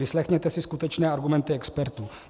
Vyslechněte si skutečné argumenty expertů.